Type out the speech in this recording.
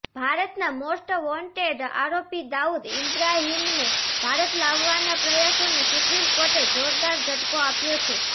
ભારતના most wanted આરોપી દાઉદ ઇબ્રાહિમને ભારત લાવવાના પ્રયાસોને સુપ્રિમ કોર્ટે જોરદાર ઝટકો આપ્યો છે